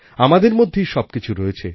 আমাদের মধ্যেই সবকিছু রয়েছে